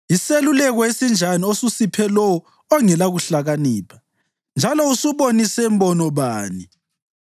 Yiseluleko esinjani osusiphe lowo ongelakuhlakanipha! Njalo usubonise mbono bani!